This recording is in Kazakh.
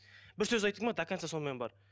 бір сөз айттың ба до конца сонымен бар